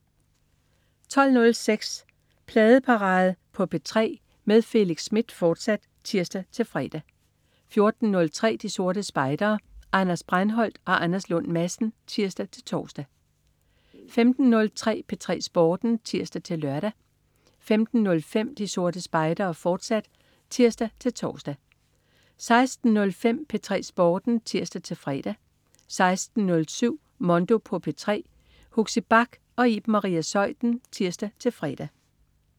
12.06 Pladeparade på P3 med Felix Smith, fortsat (tirs-fre) 14.03 De Sorte Spejdere. Anders Breinholt og Anders Lund Madsen (tirs-tors) 15.03 P3 Sporten (tirs-lør) 15.05 De Sorte Spejdere, fortsat (tirs-tors) 16.05 P3 Sporten (tirs-fre) 16.07 Mondo på P3. Huxi Bach og Iben Maria Zeuthen (tirs-fre)